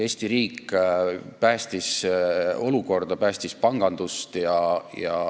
Eesti riik päästis olukorra, päästis panganduse.